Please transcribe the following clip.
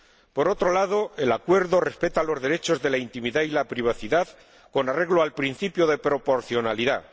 Por otro lado, el Acuerdo respeta los derechos de la intimidad y la privacidad con arreglo al principio de proporcionalidad.